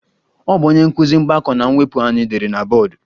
Ọ bụ onye nkụzi mgbakọ na mwepụ anyị dere na bọọdụ